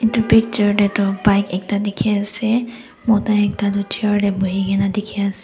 edu picture tae toh bike ekta dikhiase mota ekta toh chair tae buhikae na dikhiase.